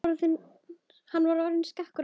Hann var orðinn skakkur aftur.